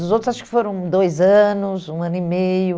Os outros acho que foram dois anos, um ano e meio.